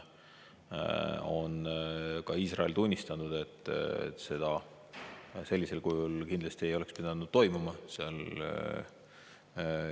Ka Iisrael on tunnistanud, et midagi sellist kindlasti ei oleks tohtinud juhtuda.